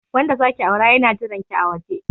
Wanda zaki aura yana jiranki a waje.